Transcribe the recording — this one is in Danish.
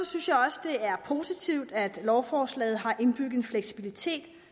synes jeg også det er positivt at lovforslaget har indbygget en fleksibilitet